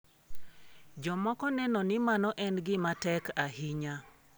Jomoko neno ni mano en gima tek ahinya.